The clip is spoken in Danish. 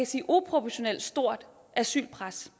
sige uproportionalt stort asylpres